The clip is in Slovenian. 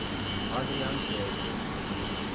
Adrijan se je zresnil.